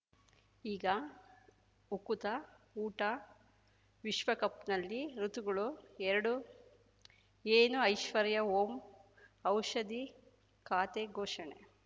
ಈಗ ಉಕುತ ಊಟ ವಿಶ್ವಕಪ್‌ನಲ್ಲಿ ಋತುಗಳು ಎರಡು ಏನು ಐಶ್ವರ್ಯಾ ಓಂ ಔಷಧಿ ಖಾತೆ ಘೋಷಣೆ